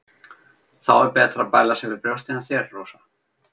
Þá er betra að bæla sig við brjóstin á þér, Rósa.